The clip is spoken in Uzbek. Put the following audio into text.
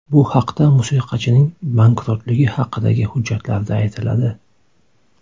Bu haqda musiqachining bankrotligi haqidagi hujjatlarda aytiladi.